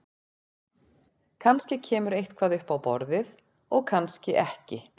Kannski kemur eitthvað upp á borðið og kannski ekki.